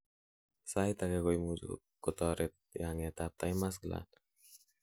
sait age koimuch Kotoret yenget ab thymus gland